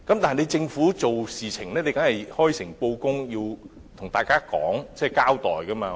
然而，政府做事要開誠布公，要向大家交代，不能隱瞞。